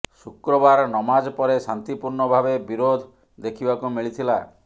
ଶୁକ୍ରବାର ନମାଜ ପରେ ଶାନ୍ତି ପୂର୍ଣ୍ଣ ଭାବେ ବିରୋଧ ଦେଖିବାକୁ ମିଳିଥିଲା